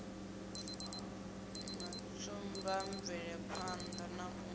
na tsumba mvelaphanḓa na u